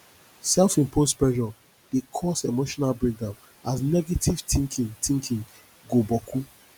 selfimposed pressure dey cause emotional breakdown as negative tinkin tinkin go boku